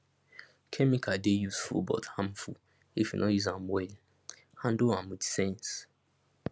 chemical dey useful but harmful if you no use am well handle am with sense